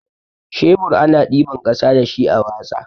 Shebur ana ɗiban ƙasa dashi a watsa.